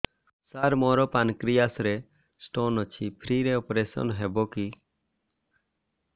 ସାର ମୋର ପାନକ୍ରିଆସ ରେ ସ୍ଟୋନ ଅଛି ଫ୍ରି ରେ ଅପେରସନ ହେବ କି